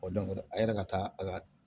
a yɛrɛ ka taa a ka